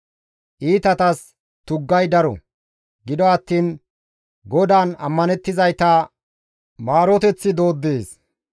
Iitatas tuggay daro; gido attiin GODAAN ammanettizayta maaroteththi dooddees.